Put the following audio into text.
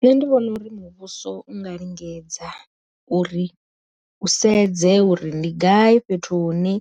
Nṋe ndi vhona uri muvhuso u nga lingedza uri, u sedze uri ndi gai fhethu hune